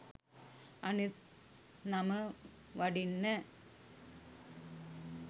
අනිත් නම වඩින්න